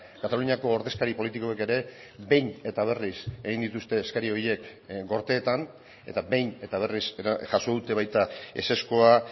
kataluniako ordezkari politikoek ere behin eta berriz egin dituzte eskari horiek gorteetan eta behin eta berriz jaso dute baita ezezkoa